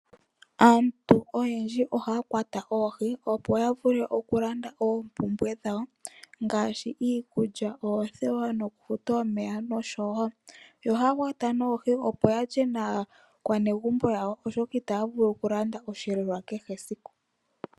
Aantu oyendji ohaya kwata oohi, opo yavule okulanda oompumbwe dhawo, ngaashi, iikulya, oothewa, nokufuta omeya noshowo olusheno. Ohaya kwata ne oohi opo yalye naakwanezimo yawo, oshoka itaya vulu okulanda osheelelwa kehe esiku.